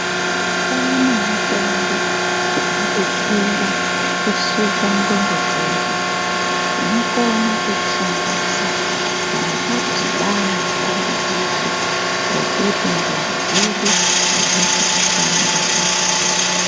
Kwaane mitombo inodetsera kusuka ndxondo dzedu. Tinokona kuishandisa kana tadhibana nedambudziko rekuti ndxondo dzedu adzisi kushanda kahle.